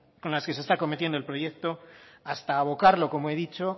con las que se está cometiendo el proyecto hasta abocarlo como he dicho